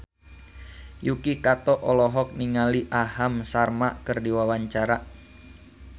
Yuki Kato olohok ningali Aham Sharma keur diwawancara